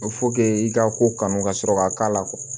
i ka ko kanu ka sɔrɔ k'a k'a la kuwa